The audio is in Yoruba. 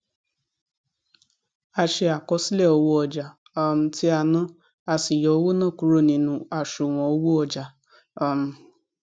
a ṣe àkọsílẹ owó ọjà um tí a ná a sì yọ owó náà kúrò nínu àṣùwọn owó ọjà um